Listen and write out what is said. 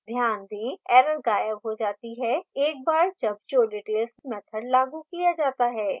ध्यान दें error गायब हो जाती है एक बार जब showdetails मैथड लागू किया जाता है